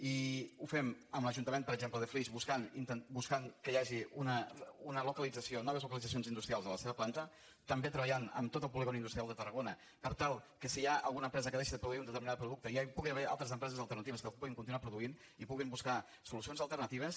i ho fem amb l’ajuntament per exemple de flix buscant que hi hagi noves localitzacions industrials a la seva planta també treballant en tot el polígon industrial de tarragona per tal que si hi ha alguna empresa que deixa de produir un determinat producte ja hi puguin haver altres empreses alternatives que el puguin continuar produint i puguin buscar solucions alternatives